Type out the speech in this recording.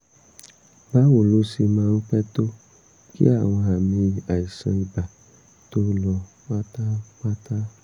báwo ló ṣe máa ń pẹ́ tó kí àwọn àmì àìsàn ibà tó lọ pátápátá?